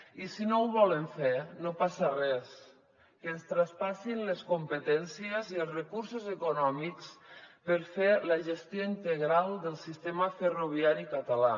i si no ho volen fer no passa res que ens traspassin les competències i els recursos econòmics per fer la gestió integral del sistema ferroviari català